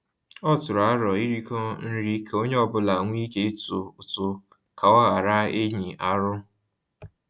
Ọ tụrụ arọ iriko nri ka onye ọbula nwe ike ịtụ ụtụ ka ọ ghara inyi arụ